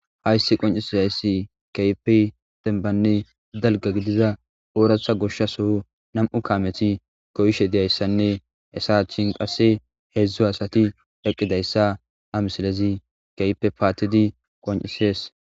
Hayssi qonccisizayssi kehippe dembbane daalga gidiza ooratha goshshe soho nam7u kaameti goyishshe diyassane hayssa achchan qasse heezhzhu asati eqqidayssa ha missilezi kehippe pattidi qonccises.